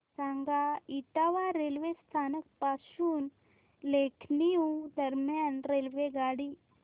सांगा इटावा रेल्वे स्थानक पासून लखनौ दरम्यान रेल्वेगाडी